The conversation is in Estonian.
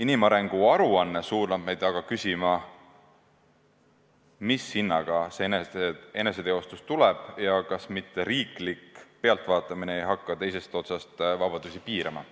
Inimarengu aruanne suunab meid aga küsima, mis hinnaga see eneseteostus tuleb ja kas mitte riiklik pealtvaatamine ei hakka teisest otsast vabadusi piirama.